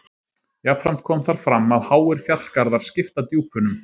Jafnframt kom þar fram að háir fjallgarðar skipta djúpunum.